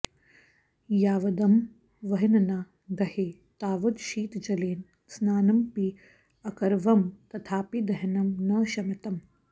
यावदहं वह्निना दह्ये तावद् शीतजलेन स्नानमपि अकरवं तथापि दहनं न शमितम्